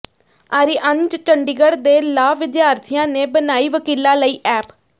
ਆਰੀਅਨਜ਼ ਚੰਡੀਗੜ੍ਹ ਦੇ ਲਾਅ ਵਿਦਿਆਰਥੀਆਂ ਨੇ ਬਣਾਈ ਵਕੀਲਾਂ ਲਈ ਐਪ